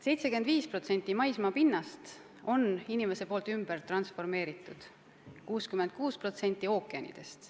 75% maismaapinnast on inimese poolt ümber transformeeritud, 66% ookeanidest.